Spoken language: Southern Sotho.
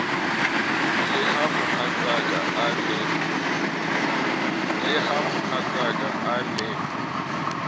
le ha mohatsaka a ne